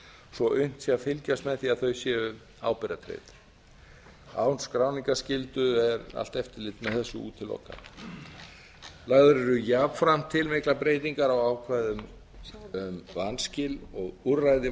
svo unnt sé að fylgjast með því að þau séu ábyrgðartryggð án skráningarskyldu er allt eftirlit með þessu útilokað lagðar eru jafnframt til miklar breytingar á ákvæðum um vanskil og úrræði